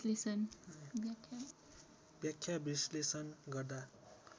व्याख्या विश्लेषण गर्दा